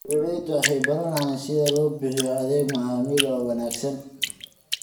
Beeraleydu waxay baranayaan sida loo bixiyo adeeg macmiil oo wanaagsan.